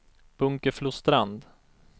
Bunkeflostrand